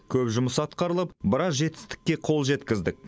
көп жұмыс атқарылып біраз жетістікке қол жеткіздік